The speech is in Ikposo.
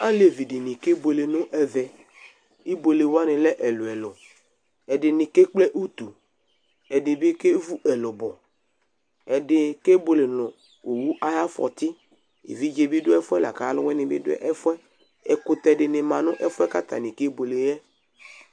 Alevi ɖɩnɩ ƙebuele nʋ ɛvɛ: ibuele wanɩ lɛ ɛlʋɛlʋ ,ɛɖɩnɩ ƙe ƙple utu, ɛɖɩnɩ ƙevu ɛlʋbɔ, ɛɖɩ ƙebuele nʋ owu aƴʋ afɔtɩEviɖze bɩ ɖʋ ɛfʋɛ laƙʋ ɔlʋwɩnɩ bɩ ɖʋ ɛfʋɛƐƙʋtɛ dɩnɩ ma nʋ ɛfʋɛ ƙʋ atanɩ ƙebuele ƴɛ